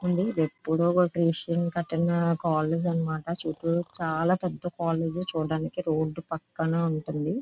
వుంది ఇది ఎప్పుడో క్రీస్తం కట్టిన కాలేజ్ అన్నమాట చాలా పెద్ద కాలేజీ చూడటానికి రోడ్డు పక్కన ఉంటుంది.